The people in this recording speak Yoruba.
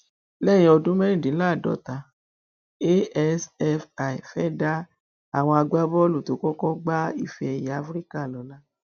lẹyìn ọdún mẹrìndínláàádọta asfi fẹẹ dá àwọn agbábọọlù tó kọkọ gba ifeẹyẹ afrika lọlá